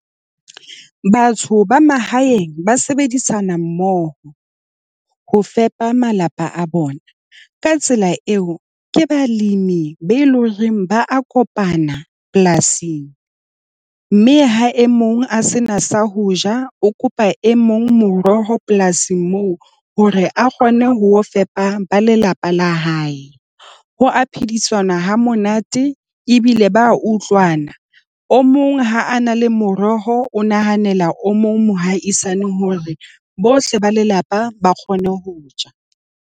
Batho ba mahaeng ba sebedisanammoho ho fepa malapa a bona ka tsela eo ke balemi be loreng ba a kopana polasing, mme ha e mong a sena sa ho ja, o kopa e mong moroho polasing moo, hore a kgone ho fepa ba lelapa la hae. Ho a phedisana ha monate ebile ba utlwana. O mong ha a na le moroho o nahanela o mong mohaisane hore bohle ba lelapa ba kgone ho ja.